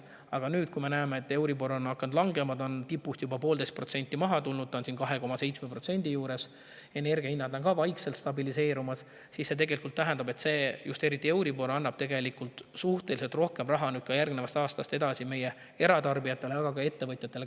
Aga nüüd, kui me näeme, et euribor on hakanud langema – see on tipust juba 1,5% alla tulnud, see on 2,7% juures – ja energia hinnad ka vaikselt stabiliseeruvad, siis see, eriti just euribor, meie eratarbijatele, aga ka ettevõtjatele järgmisest aastast ja edasi rohkem raha kätte.